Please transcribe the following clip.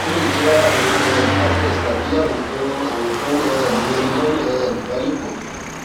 ó lè jẹ ààrùn um herpes tàbí ààrùn tó ń ààrùn tó ń um ranni lọnà um ìbálòpọ